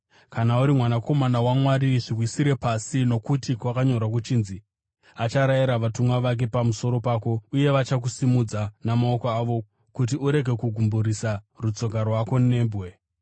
“Kana uri Mwanakomana waMwari, zviwisire pasi, nokuti kwakanyorwa kuchinzi: “Acharayira vatumwa vake pamusoro pako uye vachakusimudza namaoko avo kuti urege kugumburisa rutsoka rwako nebwe.”